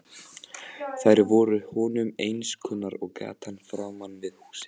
Þær voru honum eins kunnar og gatan framan við húsið.